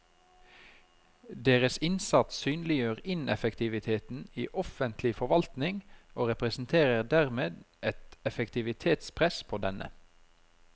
Deres innsats synliggjør ineffektiviteten i offentlig forvaltning og representerer dermed et effektivitetspress på denne.